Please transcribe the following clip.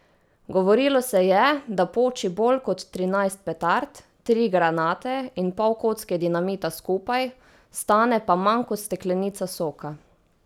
Govorilo se je, da poči bolj kot trinajst petard, tri granate in pol kocke dinamita skupaj, stane pa manj kot steklenica soka.